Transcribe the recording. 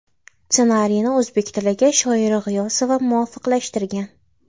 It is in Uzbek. Ssenariyni o‘zbek tiliga Shoira G‘iyosova muvofiqlashtirgan.